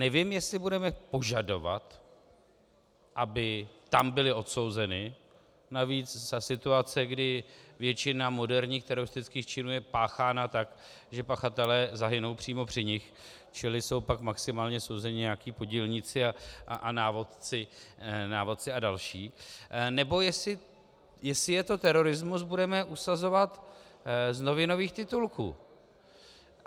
Nevím, jestli budeme požadovat, aby tam byly odsouzeny, navíc za situace, kdy většina moderních teroristických činů je páchána tak, že pachatelé zahynou přímo při nich, čili jsou pak maximálně souzeni nějací podílníci a návodci a další, nebo jestli je to terorismus, budeme usuzovat z novinových titulků.